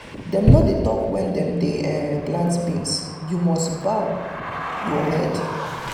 dem no dey talk when dem dey um plant beans and you must bow your um head.